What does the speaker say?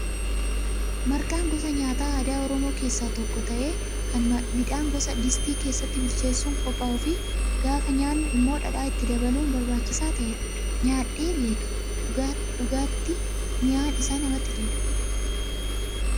Marqaan gosa nyaataa aadaa oromoo keessaa tokko ta'ee kan midhaan qodaa distii keessatti bilcheessuun qophaa'uu fi gaafa nyaannu immoo dhadhaa itti dabaluun barbaachisaa ta'edha. Nyaadhee beekaa dhugaatti mi'aan isaa namatti tolaa.